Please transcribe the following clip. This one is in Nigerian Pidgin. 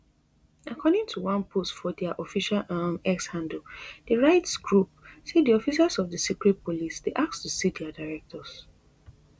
according to one post for diaofficial um x handle di rights group say di officers of di secret police dey ask to see dia directors